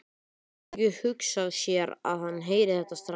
Hún getur ekki hugsað sér að hann heyri þetta strax.